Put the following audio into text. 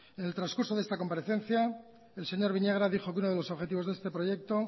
en el transcurso de esta comparecencia el señor viñagra dijo que uno de los objetivos de este proyecto